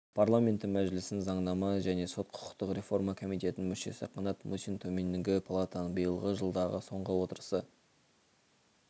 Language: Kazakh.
парламенті мәжілісінің заңнама және сот-құқықтық реформа комитетінің мүшесі қанат мұсин төменгі палатаның биылғы жылдағы соңғы отырысы